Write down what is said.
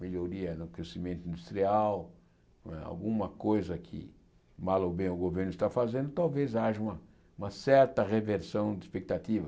melhoria no crescimento industrial, não é alguma coisa que mal ou bem o governo está fazendo, talvez haja uma uma certa reversão de expectativa.